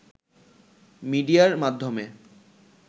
মিডিয়ার মাধ্যমে